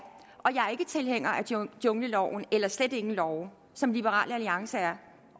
er ikke tilhænger af jungleloven eller slet ingen love som liberal alliance er